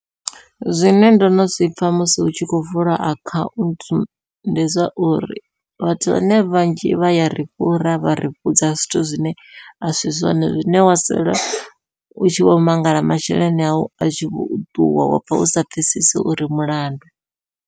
Zwine ndono zwipfha musi hu tshi khou vula akhaunthu ndi zwa uri vhathu vhane vhanzhi vha yari fhura vha ri vhudza zwithu zwine a si zwone zwine wa sala u tshi vho mangala masheleni au a tshi vho ṱuwa wapfha u sa pfhesesi uri mulandu.